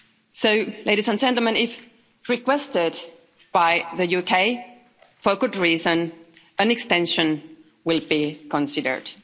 So, ladies and gentlemen, if requested by the UK for a good reason, an extension will be considered.